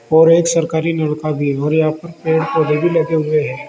और एक सरकारी नलका भी है और यहां पर पेड़ पौधे भी लगे हुए हैं।